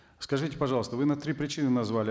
скажите пожалуйста вы нам три причины назвали